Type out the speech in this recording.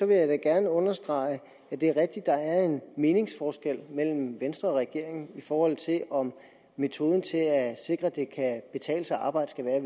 vil jeg gerne understrege at det er rigtigt at der er en meningsforskel mellem venstre og regeringen i forhold til om metoden til at sikre at det kan betale sig at arbejde skal være at